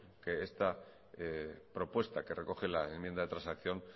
que esta propuesta que recoge la enmienda de transacción